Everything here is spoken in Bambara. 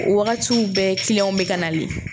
O wagatiw bɛɛ bɛ ka nalen.